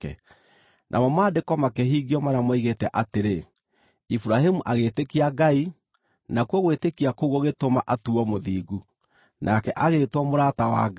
Namo Maandĩko makĩhingio marĩa moigĩte atĩrĩ, “Iburahĩmu agĩĩtĩkia Ngai, nakuo gwĩtĩkia kũu gũgĩtũma atuuo mũthingu,” nake agĩĩtwo mũrata wa Ngai.